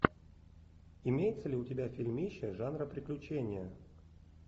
имеется ли у тебя фильмище жанра приключения